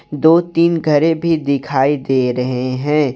दो तीन घरे भी दिखाई दे रहे है।